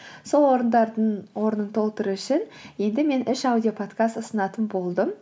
сол орындардың орнын толтыру үшін енді мен үш аудиоподкаст ұсынатын болдым